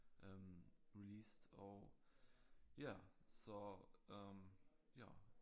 Øh released og ja så øh ja